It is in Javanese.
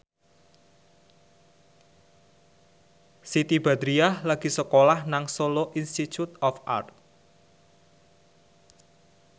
Siti Badriah lagi sekolah nang Solo Institute of Art